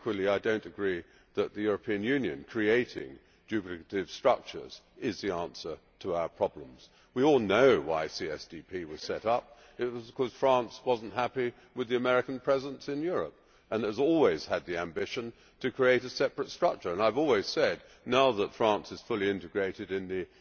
But equally I do not agree that the European Union creating duplicative structures is the answer to our problems. We all know why CSDP was set up. It was because France was not happy with the American presence in Europe and has always had the ambition to create a separate structure. I have always said that now that France is fully integrated in